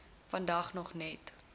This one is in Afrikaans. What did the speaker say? vandag nog net